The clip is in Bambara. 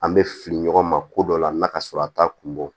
An bɛ fili ɲɔgɔn ma ko dɔ la na ka sɔrɔ a t'a kun bɔ